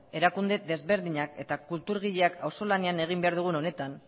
erakunde ezberdinak eta kulturgileak auzolanean egin behar dugun honetan